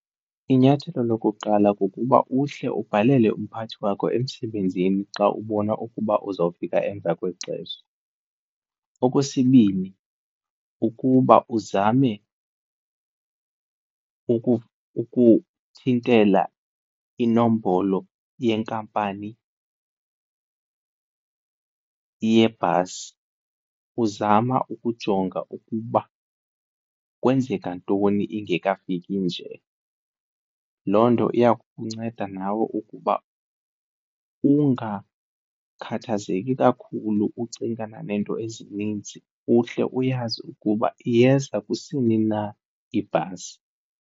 Inyathelo lokuqala kukuba uhle ubhalele umphathi wakho emsebenzini xa ubona ukuba uzawufika emva kwexesha. Okwesibini, kukuba uzame ukuthintela inombolo yenkampani yebhasi uzama ukujonga ukuba kwenzeka ntoni ingekafiki nje. Loo nto iya kukunceda nawe ukuba ungakhathazeki kakhulu ucingana neento ezininzi uhle uyazi ukuba iyeza kusini na ibhasi.